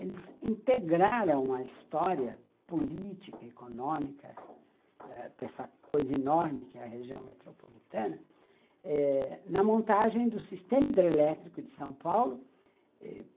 Eles integraram a história política, econômica, dessa coisa enorme que é a região metropolitana eh, na montagem do sistema hidrelétrico de São Paulo.